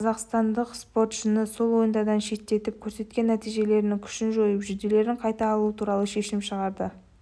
қазақстандық спортшыны сол ойындардан шеттетіп көрсеткен нәтижелерінің күшін жойып жүлделерін қайтарып алу туралы шешім шығарды